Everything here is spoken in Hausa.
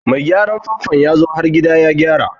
Mai gyaran famfo yazo har gida ya gyara.